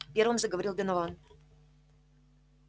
первым заговорил донован